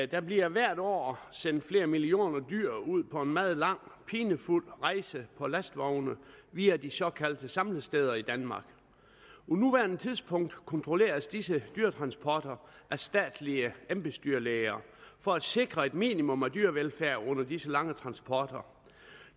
der bliver hvert år sendt flere millioner dyr ud på en meget lang pinefuld rejse på lastvogne via de såkaldte samlesteder i danmark på nuværende tidspunkt kontrolleres disse dyretransporter af statslige embedsdyrlæger for at sikre et minimum af dyrevelfærd under disse lange transporter